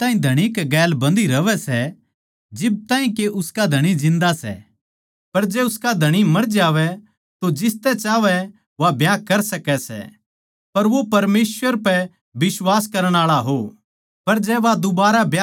बिरबान्नी जिब ताहीं धणी कै गैल बंधी रहवै सै जिब ताहीं के उसका पति जिन्दा सै पर जै उसका धणी मर जावै तो जिसतै चाहवै वा ब्याह कर सकै सै पर वो परमेसवर पै बिश्वास करण आळा हो